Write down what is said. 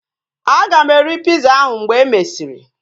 Aga m eri piza ahu mgbe e mesịrị